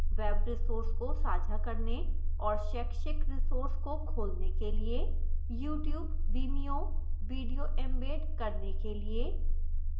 web resources को साझा करने और शैक्षिक resources को खोलने के लिए